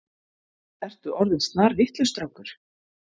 Ertu orðinn snarvitlaus strákur.